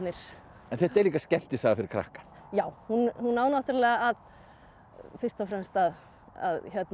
en þetta er líka skemmtisaga fyrir krakka já hún á náttúrulega fyrst og fremst að